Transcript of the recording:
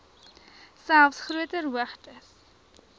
selfs groter hoogtes